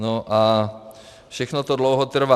No a všechno to dlouho trvá.